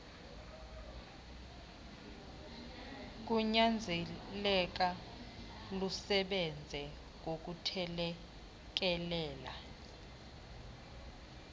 kunyanzeleka lusebenze ngokuthelekelela